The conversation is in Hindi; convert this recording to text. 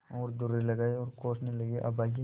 और दुर्रे लगाये और कोसने लगेअभागे